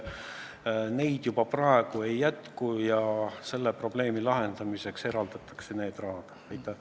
Neid praegu ei jätku ja selle probleemi lahendamiseks eraldatakse teatud summad.